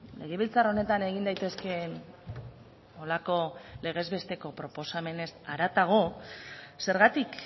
legebiltzar honetan egin daitezkeen horrelako legez besteko proposamenez haratago zergatik